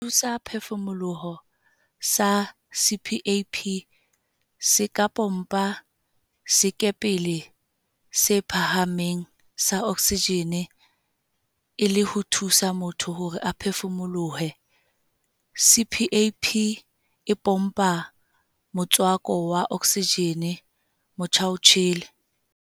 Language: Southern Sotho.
Sethusaphefu-moloho sa CPAP se ka pompa sekepele se phahameng sa oksijene e le ho thusa motho hore a phefumolohe. CPAP e pompa motswako wa oksijene motjhaotjhele.